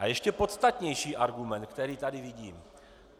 A ještě podstatnější argument, který tady vidím.